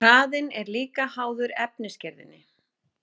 hraðinn er líka háður efnisgerðinni